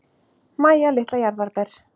Mæja litla jarðarber.